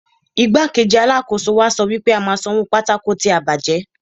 Igbá-kejì Alákóso wa sọ wípé a máa san owó pátákó tí a bàjẹ́.